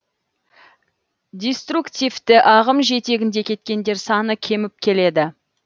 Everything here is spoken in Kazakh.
диструктивті ағым жетегінде кеткендер саны кеміп келеді